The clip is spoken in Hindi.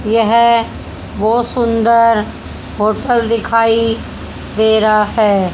यह बहोत सुंदर होटल दिखाई दे रहा है।